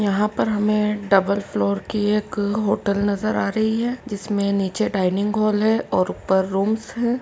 यहाँ पर हमें डबल फ्लोर की एक होटल नज़र आ रही हैं जिसमे नीचे डाइनिंग हॉल है और ऊपर रूम्स हैं।